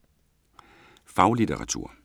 Faglitteratur